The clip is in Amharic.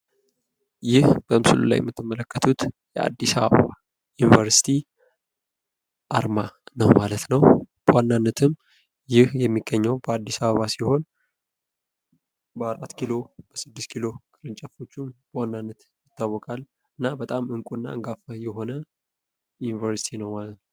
ይህ በምስሉ ላይ የምትመልከቱት የአዲስ አበባ ዩኒቨርሲቲ አርማ ነው ማለት ነው። በዋናነትም ይህ የሚገኘው በአዲስ አበባ ሲሆን በ4 ኪሎ በ6 ኪሎ በዋናነት ይታዎቃል። እና እንቁ እና አንጋፋ የሆነ ዩኒቨርሲቲ ነው ማለት ነው።